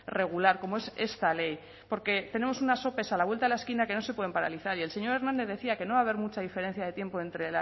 regular como es esta ley porque tenemos unas ope a la vuelta de la esquina que no se pueden paralizar y el señor hernández decía que no va a haber mucha diferencia de tiempo entre